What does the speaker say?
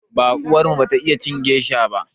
Baƙuwar mu bata iya cin gesha ba.